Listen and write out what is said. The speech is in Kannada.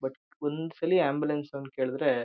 ಬಟ್ ಒಂದ್ಸಲಿ ಆಂಬ್ಯುಲೆನ್ಸ್ ಅವ್ನ್ ಕೇಳಿದ್ರೆ --